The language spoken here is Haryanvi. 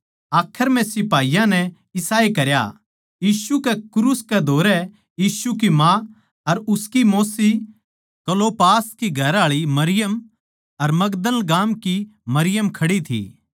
आखर म्ह सिपाहियाँ नै इसाए करया यीशु कै क्रूस कै धोरै यीशु की माँ अर उसकी मौस्सी क्लोपास की घरआळी मरियम अर मगदल गाम की मरियम खड़ी थी